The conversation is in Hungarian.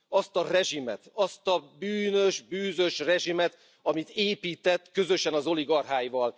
Azt a rezsimet, azt a bűnös, bűzös rezsimet, amit épített közösen az oligarcháival.